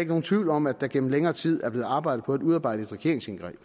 ikke nogen tvivl om at der gennem længere tid er blevet arbejdet på at udarbejde et regeringsindgreb